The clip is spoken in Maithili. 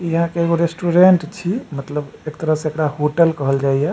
इ आहां के एगो रेस्टोरेंट छी मतलब एक तरह से एकरा होटल कहल जाय या।